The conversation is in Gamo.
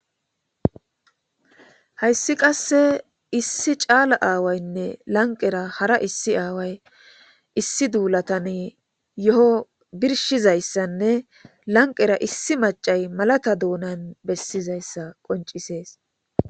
Hayssi qasse issi caala aawaynne lanqera hara issi aaway issi duulatan yo7o birshizayssanne lanqera issi macay malata doonan bessizayssa qoncisees.